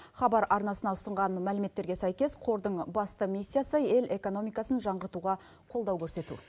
хабар арнасына ұсынған мәліметтерге сәйкес қордың басты миссиясы ел экономикасын жаңғыртуға қолдау көрсету